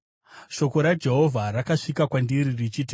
Shoko raJehovha rakasvika kwandiri richiti,